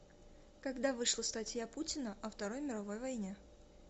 когда вышла статья путина о второй мировой войне